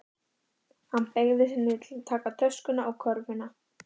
Hann beygði sig niður til að taka töskuna og körfuna.